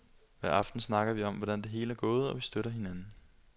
Hver aften snakker vi om, hvordan det hele er gået, og vi støtter hinanden.